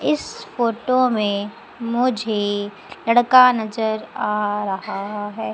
इस फोटो में मुझे लड़का नजर आ रहा है।